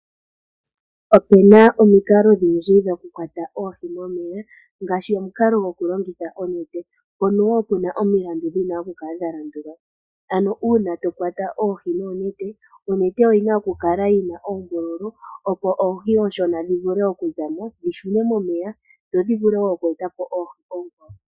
Opena omikalo odhindji dhoku kwata oohi momeya ngaashi omukalo gokulongitha onete. Mpono woo omilandu dhono dhina oku kala dhalandulwa ano uuna to kwata oohi nonete. Onete oyina oku kala yina oombululu opo oohi ooshona dhi vule oku zamo dhi shune momeya dho dhi vule wo oku etapo oohi oonkwawo.